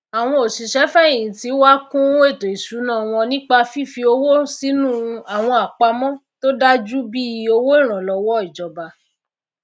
àwọn òsìsé fèhìntì wá kún ètò ìsúná wọn nípa fifi owó sínú àwọn àpamọ tó dájú bíi òwó ìrànlówó ìjòba